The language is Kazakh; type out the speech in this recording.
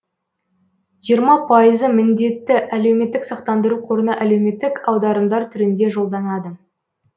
жиырма пайызы міндетті әлеуметтік сақтандыру қорына әлеуметтік аударымдар түрінде жолданады